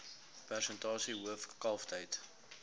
persentasie hoof kalftyd